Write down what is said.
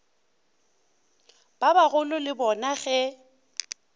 ba bagolo le bona ge